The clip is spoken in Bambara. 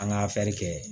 An ka kɛ